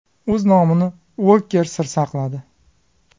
O‘z nomini Uoker sir saqladi.